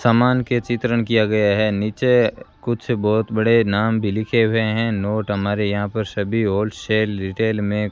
सामान के चित्रण किया गया है नीचे कुछ बहोत बड़े नाम भी लिखे हुए हैं नोट हमारे यहां पर सभी होलसेल रिटेल में --